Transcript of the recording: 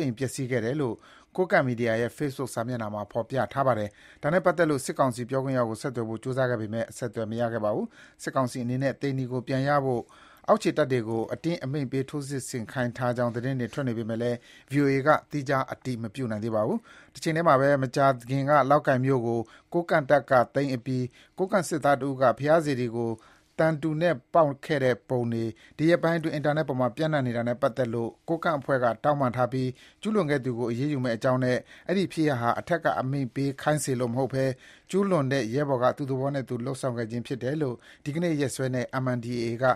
အိမ်ပျက်စီးခဲ့တယ်လို့ ကိုးကန့်မီဒီယာရဲ့ Facebook စာမျက်နှာမှာ ဖော်ပြထားပါတယ်။ ဒါနဲ့ပတ်သက်လို့ စစ်ကောင်စီ ပြောခွင့်ရကို ဆက်သွယ်ဖို့ ကြိုးစားခဲ့ပေမယ့် အဆက်အသွယ်မရခဲ့ပါဘူး။ စစ်ကောင်စီအနေနဲ့ သိန္နီကို ပြန်ရနိုင်ဖို့ အောက်ခြေတပ်တွေကို အတင်းအမိန့်ပေး ထိုးစစ်ဆင်ခိုင်းထားကြောင်း သတင်းတွေထွက်နေပေမဲ့ ဗွီအိုအေက သီးခြား အတည်မပြုနိုင်သေးပါဘူး။ တချိန်ထဲမှာပဲ မကြာခင်က လောက်ကိုင်မြို့ကို ကိုးကန့်တပ်က သိမ်းအပြီး ကိုးကန့်စစ်သားတဦးက ဘုရားစေတီကို သံတူနဲ့ပေါက်ခဲ့တဲ့ပုံတွေ ဒီရက်ပိုင်း အင်တာနက်အပေါ် ပျံနှံ့နေတာနဲ့ပတ်သက်လို့ ကိုးကန့်အဖွဲ့က တောင်းပန်ထားပြီး ကျုးလွန်ခဲ့သူကို အရေးယူမယ့်အကြောင်းနဲ့ အဲဒီဖြစ်ရပ်ဟာ အထက်ကအမိန့်ပေးခိုင်းစေလို့မဟုတ်ဘဲ ကျူးလွန်တဲ့ ရဲဘော်က သူ့သဘောနဲ့သူ လုပ်ဆောင်ခဲ့ခြင်းဖြစ်တယ်လို့ ဒီနေ့ ရက်စွဲနဲ့ MNDAA က